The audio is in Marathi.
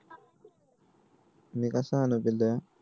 मी कस आणू बिब्या